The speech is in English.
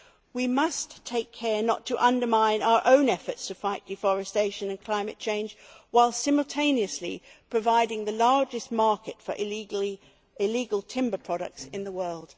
We must take care not to undermine our own efforts to fight deforestation and climate change by simultaneously providing the largest market for illegal timber products in the world.